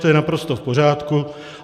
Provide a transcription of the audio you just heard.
To je naprosto v pořádku.